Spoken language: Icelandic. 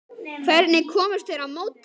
Hvernig komust þeir á mótið?